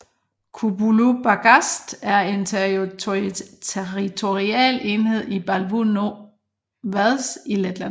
Kubulu pagasts er en territorial enhed i Balvu novads i Letland